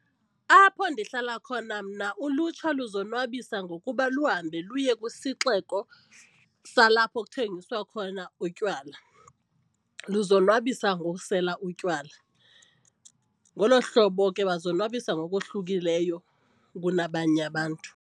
Apho ndihlala khona mna ulutsha luzonwabisa ngokuba luhambe luye kwisixeko salapho kuthengiswa khona utywala, luzonwabisa ngokusela utywala. Ngolo hlobo ke bazonwabisa ngokohlukileyo kunabanye abantu.